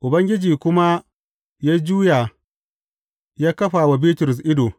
Ubangiji kuma ya juya ya kafa wa Bitrus ido.